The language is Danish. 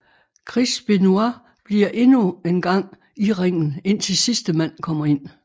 Chris Benoit bliver endnu engang i ringen indtil sidste mand kommer ind